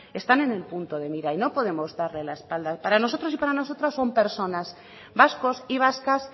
están en el punto de mira y no podemos darles la espalda para nosotros y para nosotras son personas vascos y vascas